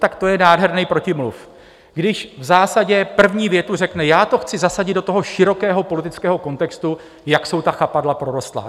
Tak to je nádherný protimluv, když v zásadě první větu řekne: Já to chci zasadit do toho širokého politického kontextu, jak jsou ta chapadla prorostlá.